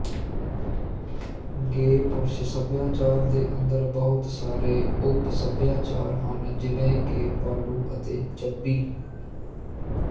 ਗੇ ਪੁਰਸ਼ ਸਭਿਆਚਾਰ ਦੇ ਅੰਦਰ ਬਹੁਤ ਸਾਰੇ ਉਪਸਭਿਆਚਾਰ ਹਨ ਜਿਵੇਂ ਕਿ ਭਾਲੂ ਅਤੇ ਚੱਬੀ